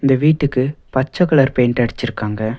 வீட்டுக்கு பச்ச colour paint அடுச்சுருக்காங்க.